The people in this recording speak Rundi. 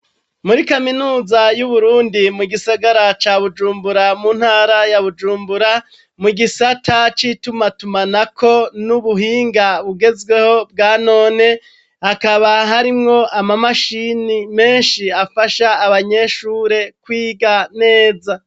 Muri kaminuza y'uBurundi mu gisagara ca Bujumbura mu ntara ya Bujumbura mu gisata c'ituma tumanako n'ubuhinga bugezweho bwanone hakaba harimwo ama mashine menshi afasha abanyeshure kwiga neza.